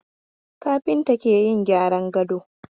Kafinta ke yin gyran gado.